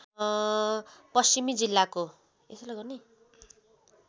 पश्चिमी जिल्लाको